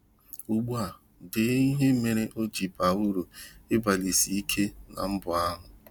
Ugbu a dee ihe mere o ji baa uru ịgbalịsike na mbọ ahụ.